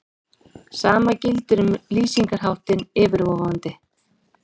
Sama gildir um lýsingarháttinn yfirvofandi.